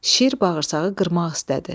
Şir bağırsağı qırmaq istədi.